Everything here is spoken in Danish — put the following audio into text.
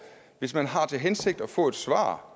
hvis man har til hensigt at få et svar